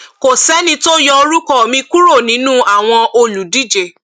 kò sẹni tó yọ orúkọ mi kúrò nínú àwọn olùdíje